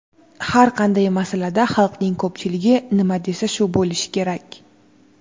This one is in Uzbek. "Har qanday masalada xalqning ko‘pchiligi nima desa shu bo‘lishi kerak".